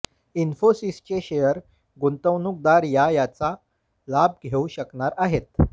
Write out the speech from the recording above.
इन्फोसिसचे share गुंतवणूकदार या याचा लाभ घेऊ शकणार आहेत